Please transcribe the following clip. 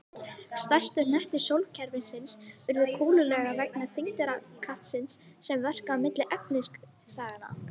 Stærstu hnettir sólkerfisins urðu kúlulaga vegna þyngdarkraftsins sem verkaði milli efnisagnanna.